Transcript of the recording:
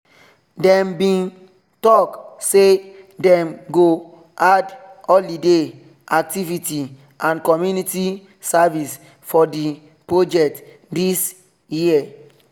them bin talk say them go add holiday activity and community service for the project this year